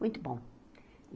Muito bom.